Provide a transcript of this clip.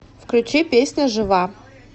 включи песня жива